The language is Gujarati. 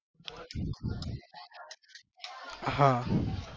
હા